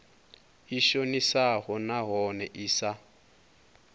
i shonisaho nahone i sa